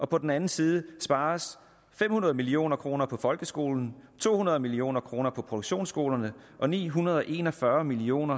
på den anden side spares fem hundrede million kroner på folkeskolen to hundrede million kroner på produktionsskolerne og ni hundrede og en og fyrre million